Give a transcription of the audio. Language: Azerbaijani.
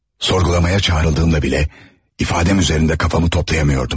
Sorgulamaya çağrıldığımda bilə ifadəm üzərində kafamı toplayamıyordum.